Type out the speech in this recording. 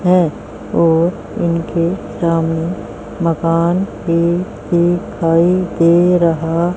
हैं और इनके सामने मकान भी दिखाई दे रहा--